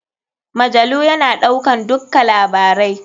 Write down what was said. Majalu ya na ɗaukan dukka labarai.